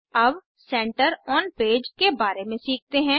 अब centre on page के बारे में सीखते हैं